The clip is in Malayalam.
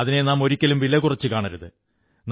അതിനെ നാം ഒരിക്കലും വിലകുറച്ചു കാണരുത്